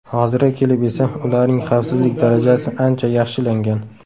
Hozirga kelib esa ularning xavfsizlik darajasi ancha yaxshilangan.